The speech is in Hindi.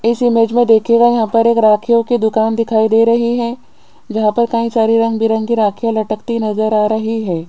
इस इमेज में देखिएगा यहां पर एक रखियो की दुकान दिखाई दे रही है जहां पर कहीं सारे रंग बिरंगी राखियां लटकता नजर आ रही है।